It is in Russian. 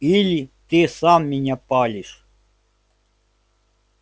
или ты сам меня палишь